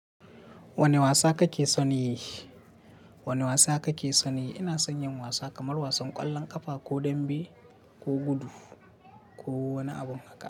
Wane wasa kake son yi? Wane wasa kake son yi? Ina son yin wasa kamar wasan ƙwallon ƙafa ko dambe ko gudu ko wani abun haka.